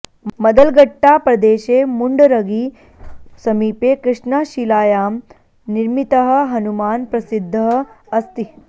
मदलगट्टा प्रदेशे मुण्डरगी समीपे कृष्णाशिलायां निर्मितः हनुमान् प्रसिद्धः अस्ति